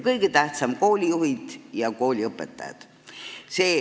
Kõige tähtsam teema on koolijuhid ja kooliõpetajad.